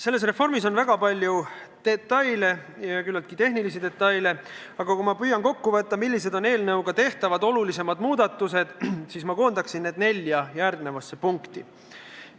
Selles reformis on väga palju detaile – ja küllaltki tehnilisi detaile –, aga kui ma püüan kokku võtta, millised on eelnõuga tehtavad olulisemad muudatused, siis ma koondaksin need järgmisse nelja punkti.